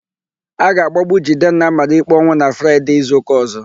A ga-agbagbu Jidenna a mara ikpe ọnwụ na Fraịde izuụka ọ̀zó.